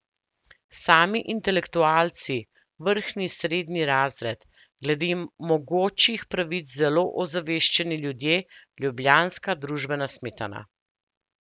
Sami intelektualci, vrhnji srednji razred, glede mogočih pravic zelo ozaveščeni ljudje, ljubljanska družbena smetana.